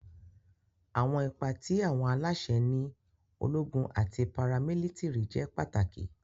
Awọn ipa ti awọn alaṣẹ ni ologun ati paramilitiri jẹ pataki.